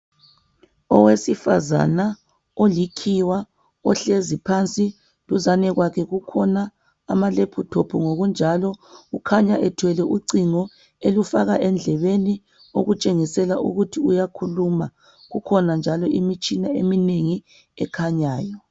Owesifazana olikhiwa ohlezi phansi duzane kwakhe kukhona ama laptop ngokunjalo ukhanya ethwele ucingo elufaka endlebeni okutshengisela ukuthi uyakhuluma. Kukhona njalo imitshina eminengi ekhanyayo.